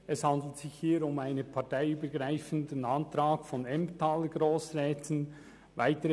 Es handelt sich hier um einen parteiübergreifenden Antrag von Grossräten aus dem Emmental.